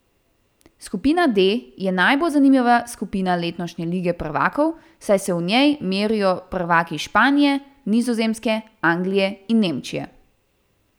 Skupina D je najbolj zanimiva skupina letošnje Lige prvakov, saj se v njej merijo prvaki Španije, Nizozemske, Anglije in Nemčije.